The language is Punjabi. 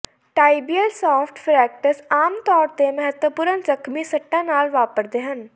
ਟਾਈਬੀਅਲ ਸ਼ਾਫਟ ਫਰੈਕਟਸ ਆਮ ਤੌਰ ਤੇ ਮਹੱਤਵਪੂਰਣ ਜ਼ਖਮੀ ਸੱਟਾਂ ਨਾਲ ਵਾਪਰਦੇ ਹਨ